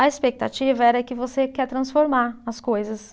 A expectativa era que você quer transformar as coisas.